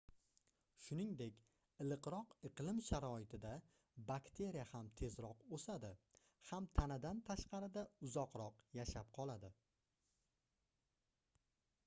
shuningdek iliqroq iqlim sharoitida bakteriya ham tezroq oʻsadi ham tanadan tashqarida uzoqroq yashab qoladi